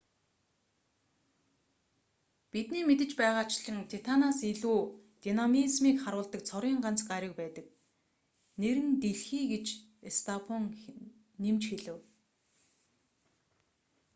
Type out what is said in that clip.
бидний мэдэж байгаачлан титанаас илүү динамизмийг харуулдаг цорын ганц гариг байдаг нэр нь дэлхий гэж стофан нэмж хэлэв